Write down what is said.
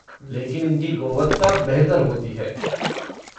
लेकिन इनकी गुणवत्ता बेहतर होती है।